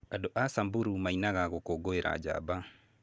Andũ a Samburu mainaga gũkũngũĩra njamba.